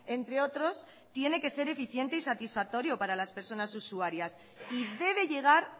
entre otros tiene que ser eficiente y satisfactorio para las personas usuarias y debe llegar